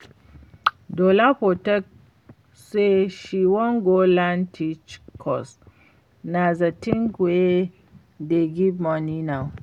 Dolapo talk say she wan go learn tech cos na the thing wey dey give money now